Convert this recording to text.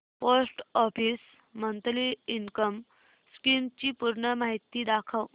post office monthly income scheme ची पूर्ण माहिती दाखव